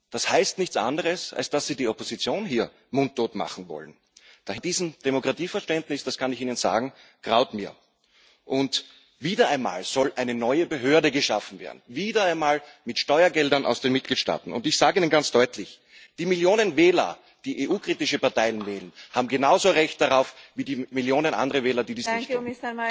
Das heißt nichts anderes, als dass Sie die Opposition hier mundtot machen wollen. Vor diesem Demokratieverständnis, das kann ich Ihnen sagen, graut mir. Und wieder einmal soll eine neue Behörde geschaffen werden, wieder einmal mit Steuergeldern aus den Mitgliedstaaten. Ich sage Ihnen ganz deutlich Die Millionen Wähler, die EU kritische Parteien wählen, haben genauso ein Recht darauf wie die Millionen anderer Wähler, die dies nicht tun.